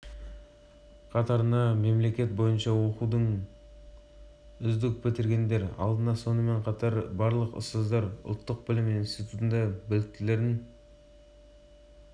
технологиялық университеттің вице-министрі профессор синг конг лидің айтуынша бұған білім беру саласындағы ұстаздардың деңгейі әсер